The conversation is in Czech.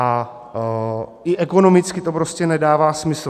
A i ekonomicky to prostě nedává smysl.